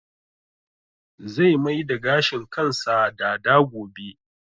Zai mai da gashin kansa dada gobe